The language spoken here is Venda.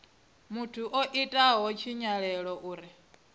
muthu o itaho tshinyalelo uri